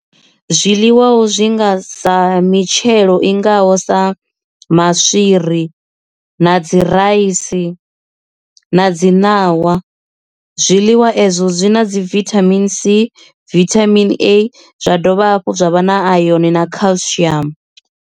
Zwiḽiwa ho zwi nga sa mitshelo i ngaho sa maswiri na dzi raisi na dzi ṋawa zwiḽiwa ezwo zwi na dzi vithamini C vithamini A zwa dovha hafhu zwa vha na iron na culcium.